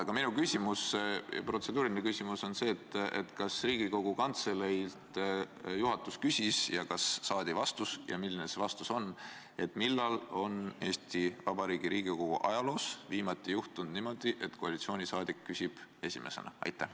Aga minu protseduuriline küsimus on selline: kas juhatus küsis Riigikogu Kantseleilt ning kas saadi vastus ja milline selle kohta, millal on Eesti Vabariigi Riigikogu ajaloos viimati juhtunud niimoodi, et koalitsiooniliige küsib esimesena?